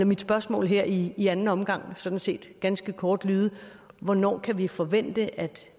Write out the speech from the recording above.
mit spørgsmål her i i anden omgang sådan set ganske kort lyde hvornår kan vi forvente at